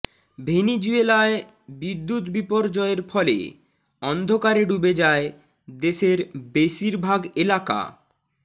ভেনিজুয়েলায় বিদ্যুৎ বিপর্যয়ের ফলে অন্ধকারে ডুবে যায় দেশের বেশিরভাগ এলাকা